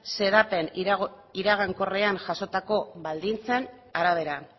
xedapen iragankorrean jasotako baldintzen arabera